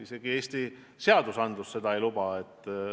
Isegi Eesti seadused seda ei luba.